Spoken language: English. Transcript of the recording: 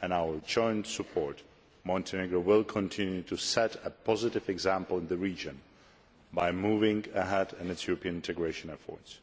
and our joint support, Montenegro will continue to set a positive example in the region by moving ahead in its European integration efforts.